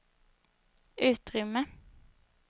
utrymme